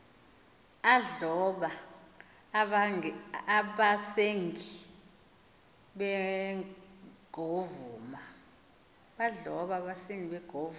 adloba abasengi begovuza